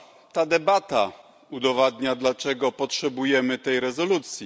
Ta debata udowadnia, dlaczego potrzebujemy tej rezolucji.